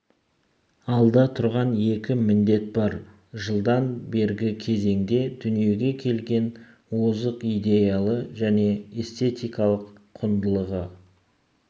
алда тұрған екі міндет бар жылдан бергі кезеңде дүниеге келген озық идеялы және эстетикалық құндылығы